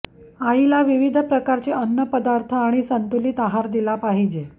आईला विविध प्रकारचे अन्नपदार्थ आणि संतुलित आहार दिला पाहिजे